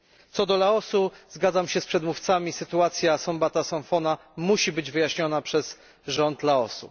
Co do Laosu, zgadzam się z przedmówcami sytuacja Sombath Somphone'a musi zostać wyjaśniona przez rząd Laosu.